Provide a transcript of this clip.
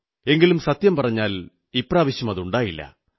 എങ്കിലും സത്യം പറഞ്ഞാൽ ഇപ്രാവശ്യം അതുണ്ടായില്ല